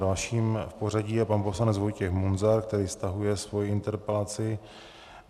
Dalším v pořadí je pan poslanec Vojtěch Munzar, který stahuje svoji interpelaci.